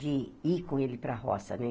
de ir com ele para a roça, né?